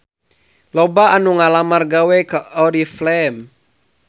Loba anu ngalamar gawe ka Oriflame